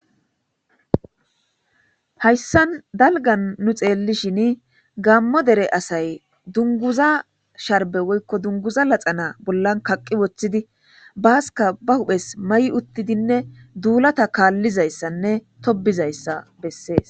Hayissan daliganni nuu xellishshin Gamo dere asayi duniguza sharibbe woyikko duniguza laxana bollanni kaqi woththidi basikka baa huphphes mayi uttidinne dulata kalizayisane tobizayissa besses.